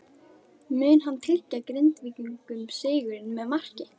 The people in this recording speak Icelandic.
Mun hann tryggja Grindvíkingum sigurinn með marki?